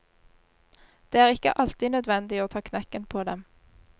Det er ikke alltid nødvendig å ta knekken på dem.